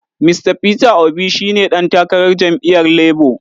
Mista Peter Obi shi ne ɗan takarar jam’iyyar Labo.